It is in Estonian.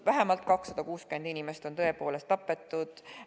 Vähemalt 260 inimest on tõepoolest tapetud.